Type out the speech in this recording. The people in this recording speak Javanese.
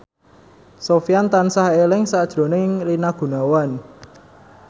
Sofyan tansah eling sakjroning Rina Gunawan